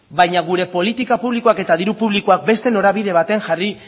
baina gure politika publikoak eta diru publikoak beste norabide baten jarri